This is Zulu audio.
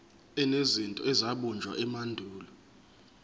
enezinto ezabunjwa emandulo